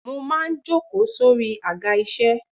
Mo máa ń jókòó sórí Àga isẹ.